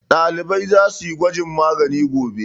Ɗalibai za su yi gwajin magani gobe.